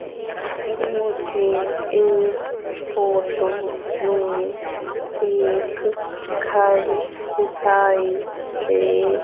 मुझे इस फोटो में एक घर दिखाई दे--